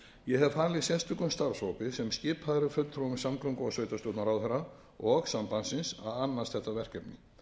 ég hef falið sérstökum starfshópi sem skipaður er fulltrúum samgöngu og sveitarstjórnarráðherra og sambandsins að annast þetta verkefni